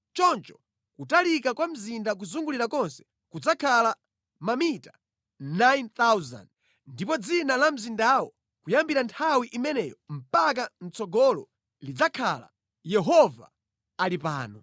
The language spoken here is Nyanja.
“Choncho kutalika kwa mzinda kuzungulira kwake kudzakhala mamita 9,000. “Ndipo dzina la mzindawo kuyambira nthawi imeneyo mpaka mʼtsogolo lidzakhala: Yehova Ali Pano.”